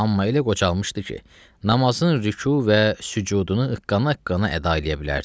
Amma elə qocalmışdı ki, namazın rüku və sücudunu qana-qana əda eləyə bilərdi.